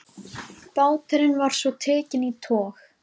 Báturinn var svo tekinn í tog.